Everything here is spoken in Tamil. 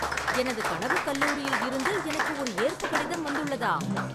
எனது கனவுக் கல்லூரியில் இருந்து எனக்கு ஒரு ஏற்பு கடிதம் வந்துள்ளதா